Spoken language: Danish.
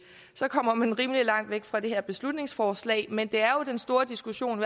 så kommer man rimelig langt væk fra det her beslutningsforslag men det er jo den store diskussion